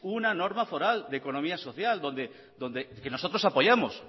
una norma foral de economía social donde donde que nosotros apoyamos